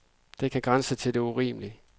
Det kan grænse til det urimelige.